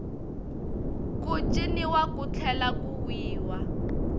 ku ciniwa ku tlhela ku wiwa